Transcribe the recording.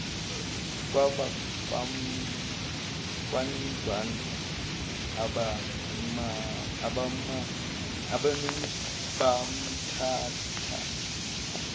kwabakwandwandwe abamane bamthatha